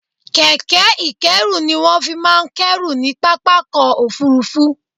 Kẹ̀kẹ́ ìkẹ́rù ni wọ́n fi máa ń kẹ́rù ní pápákọ̀ òfurufú